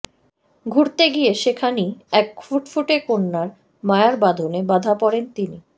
ঘুরতে গিয়ে সেখানই এক ফুটফুটে কন্যার মায়ার বাঁধনে বাঁধা পড়েন তিনি